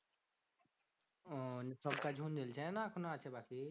ওহ সব কাজ না এখনো আছে বাকি?